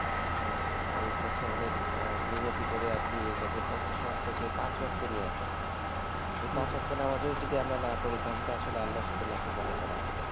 আহ আল্লাহের কাছে অনেক আহ মিনতি করে আরকি এটাকে পঞ্চাশ ওয়াক্ত থেকে পাঁচ ওয়াক্তে নিয়ে আসছে এই হম হম পাঁচ ওয়াক্ত নামাজ ও যদি আমরা না পড়ি তাহলে তো আল্লাহর সাথে নাফরমানি করা হবে